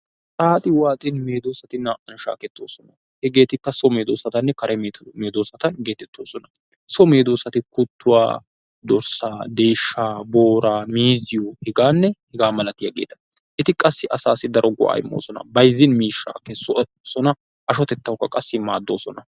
Xaaxi waaxin meedosati naa"aw shaakeroosona. Hegetikka so mwdoosatanne kare medoosata getetoosona. So medoosati kuttuwaa, vooraa, deeshshaa, miizzito heganne hegaa malatiyaageeta. Eti qassi asassi daro go"a immoosona. Bayzzin miishshaa kessoosona, ashshotettawukka qassi maaddoosoana.